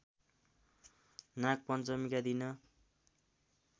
नागपञ्चमीका दिन